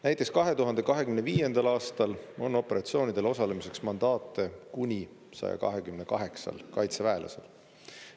Näiteks 2025. aastal on operatsioonidel osalemiseks mandaate kuni 128 kaitseväelasel.